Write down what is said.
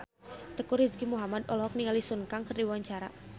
Teuku Rizky Muhammad olohok ningali Sun Kang keur diwawancara